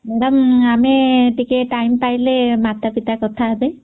madam ନମସ୍କାର